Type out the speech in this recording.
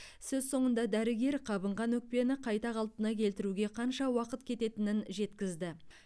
сөз соңында дәрігер қабынған өкпені қайта қалпына келтіруге қанша уақыт кететінін жеткізді